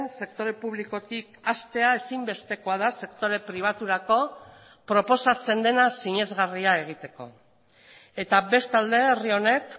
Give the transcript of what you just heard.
sektore publikotik hastea ezinbestekoa da sektore pribaturako proposatzen dena sinesgarria egiteko eta bestalde herri honek